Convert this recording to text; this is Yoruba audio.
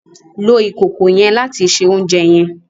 Lo ìkòkò yen láti se oúnjẹ yen!